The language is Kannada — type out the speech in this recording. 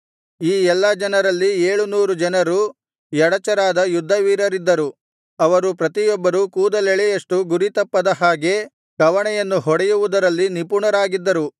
ಈ ಎಲ್ಲಾ ಜನರಲ್ಲಿ ಏಳುನೂರು ಜನರು ಎಡಚರಾದ ಯುದ್ಧವೀರರಿದ್ದರು ಅವರಲ್ಲಿ ಪ್ರತಿಯೊಬ್ಬರು ಕೂದಲೆಳೆಯಷ್ಟು ಗುರಿತಪ್ಪದ ಹಾಗೆ ಕವಣೆಯನ್ನು ಹೊಡೆಯುವುದರಲ್ಲಿ ನಿಪುಣರಾಗಿದ್ದರು